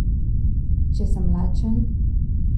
Če sem lačen?